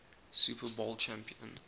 super bowl champion